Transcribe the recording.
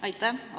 Aitäh!